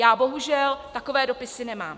Já bohužel takové dopisy nemám.